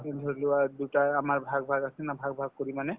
এই ধৰিলোৱা দুটা আমাৰ ভাগ ভাগ আছে না ভাগ ভাগ কৰি মানে